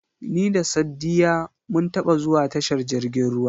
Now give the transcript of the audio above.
Ni da Saddiya mun taba zuwa tashar jirgin ruwa.